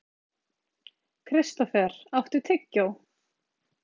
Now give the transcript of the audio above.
Kristófer, áttu tyggjó?